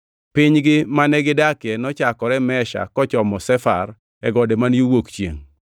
(Pinygi mane gi dakie nochakore Mesha kochomo Sefar e gode man yo wuok chiengʼ.)